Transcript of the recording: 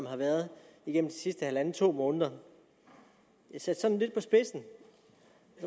har været igennem de sidste halvanden til to måneder sat sådan lidt på spidsen